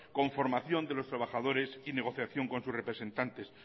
con formación de los trabajadores y negociación con sus representantes